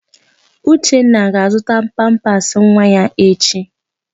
Uchenna ga-azụta pampasị nwa ya echi.